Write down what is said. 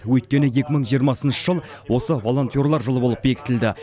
өйткені екі мың жиырмасыншы жыл осы волонтерлер жылы болып бекітілді